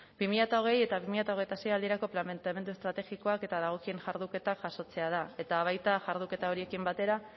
bi mila hogei eta bi mila hogeita sei aldirako planteamendu estrategikoak eta dagokien jarduketak jasotzea da eta baita jarduketa horiekin batera